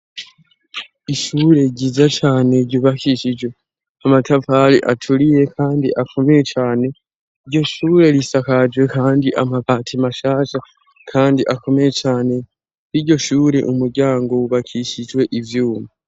Ishure ryiza cane ryubakishijwe amatafari aturiye kandi akomeye, cane iryo shure risakajwe kandi amapati mashasha kandi akomeye cane, n'iryo shure umuryango ubakishijwe ivyuma.